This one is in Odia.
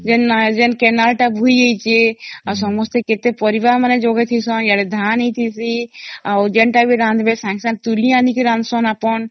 ଜେନା କେନାଲ ତା ବୋହି ଯାଇଛି ଆଉ ସମସ୍ତେ କେତେ ପରିବା ଯୋଗେଇ ଦେଉସନ ଆଡେ ଧାନ ହେଇଟିସ ଆଉ ଯେନ୍ତା ବି ରାନ୍ଧିବେ ସଂଗେ ସଂଗେ ତୁଳି ଏଣିକି ରାନ୍ଧୁସନ ଆପଣ